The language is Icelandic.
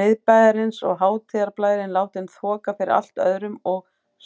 Miðbæjarins og hátíðarblærinn látinn þoka fyrir allt öðrum og